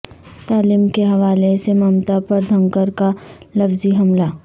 تعلیم کے حوالے سے ممتا پر دھنکر کا لفظی حملہ